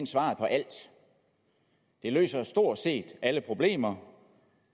svaret på alt det løser stort set alle problemer